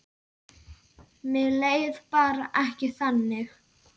Mér leið bara ekki þannig.